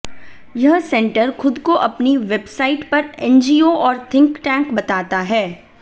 यह सेंटर खुद को अपनी वेबसाइट पर एनजीओ और थिंक टैंक बताता है